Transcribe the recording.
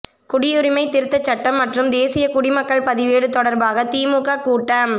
குடியுரிமை திருத்தச் சட்டம் மற்றும் தேசிய குடிமக்கள் பதிவேடு தொடர்பாக திமுக கூட்டம்